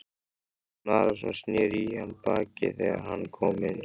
Jón Arason sneri í hann baki þegar hann kom inn.